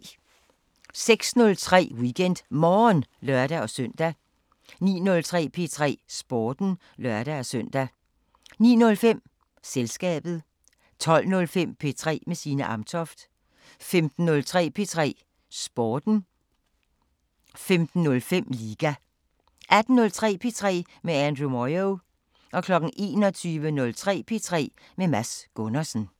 06:03: WeekendMorgen (lør-søn) 09:03: P3 Sporten (lør-søn) 09:05: Selskabet 12:05: P3 med Signe Amtoft 15:03: P3 Sporten 15:05: Liga 18:03: P3 med Andrew Moyo 21:03: P3 med Mads Gundersen